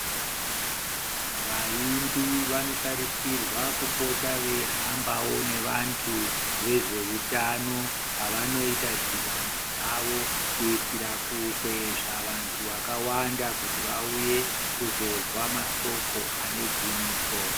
Vaimbi vanotarisirwa kupota eihambawo nevantu vezvehutano pavanoita dhibano dzawo kuitira kukwezva vantu vakawanda vauye kuzozwa Masoko anegwinyiso.